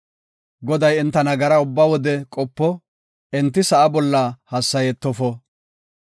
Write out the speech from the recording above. Goday enta nagara ubba wode qopo; enti sa7a bolla hassayetofo.